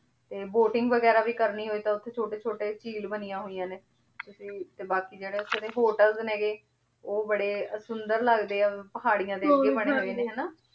ਤੇ boating ਵੇਗਿਰਾ ਵੀ ਕਰਨੀ ਹੋਈ ਤਾਂ ਓਥੇ ਚੋਟੀ ਚੋਟੀ ਝੀਲ ਬਨਿਯਾਂ ਹੋਈਯਾਂ ਨੇ ਤੇ ਬਾਕ਼ੀ ਜੇਰੀ ਓਥੇ ਦੇ ਹੋਤੇਲ੍ਸ ਨੇ ਊ ਬਾਰੇ ਸੁੰਦਰ ਲਗਦੇ ਆ ਪਹਰਿਯਾਂ ਦੇ ਅਗੇ ਬਨੀ ਹੋਆਯ ਹਾਨਾ